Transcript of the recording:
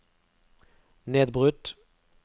nedbrutt